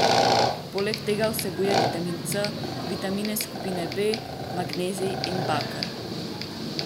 Poleg tega vsebuje vitamin C, vitamine skupine B, magnezij in baker.